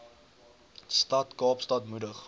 stad kaapstad moedig